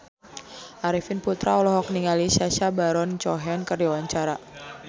Arifin Putra olohok ningali Sacha Baron Cohen keur diwawancara